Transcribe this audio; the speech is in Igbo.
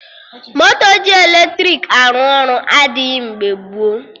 Moto ji eletrik arụ ọrụ adịghị mgbe gboo